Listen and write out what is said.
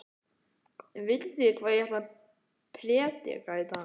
Vitið þið hvað ég ætla að prédika í dag?